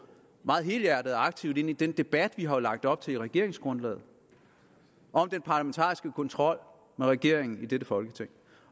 meget helhjertet og aktivt ind i den debat vi jo har lagt op til i regeringsgrundlaget om den parlamentariske kontrol med regeringen i dette folketing